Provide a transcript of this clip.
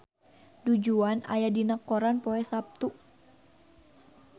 Du Juan aya dina koran poe Saptu